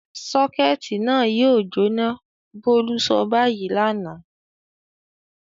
"Sọ́kẹ́tì náà yóò jóná!" Bólú sọ báyìí lánàá.